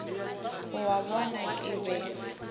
o a bona ke be